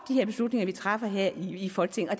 at vi træffer beslutninger her i folketinget og